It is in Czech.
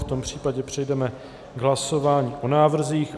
V tom případě přejdeme k hlasování o návrzích.